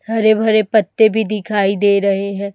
हरे भरे पत्ते भी दिखाई दे रहे हैं।